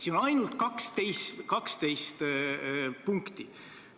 Siin on ainult 12 punkti.